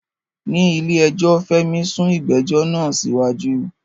Ní ilé ẹjọ́, Fẹ́mi sún ìgbẹ́jọ́ náà síwájú.